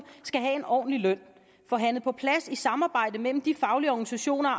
skal have en ordentlig løn forhandlet på plads i samarbejde mellem de faglige organisationer og